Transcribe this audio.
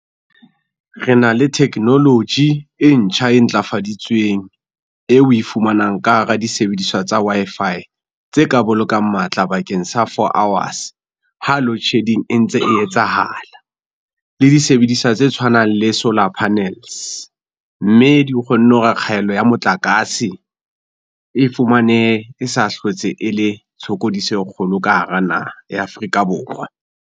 Re na le technology e ntjha e ntlafaditsweng, eo we fumanang ka hara disebediswa tsa Wi-Fi, tse ka bolokang matla bakeng sa four hours ha load shedding e ntse e etsahala. Le disebediswa tse tshwanang le solar panels, mme di kgonne hore kgaello ya motlakase e fumane e sa hlotse e le tshokodiso e kgolo ka hara naha ya Afrika Borwa.